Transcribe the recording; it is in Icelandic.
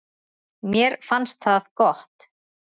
Mér fannst það gott.